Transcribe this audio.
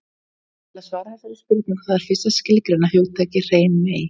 Til að svara þessari spurningu þarf fyrst að skilgreina hugtakið hrein mey.